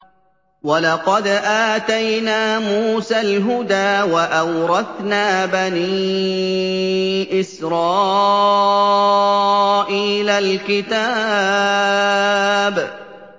وَلَقَدْ آتَيْنَا مُوسَى الْهُدَىٰ وَأَوْرَثْنَا بَنِي إِسْرَائِيلَ الْكِتَابَ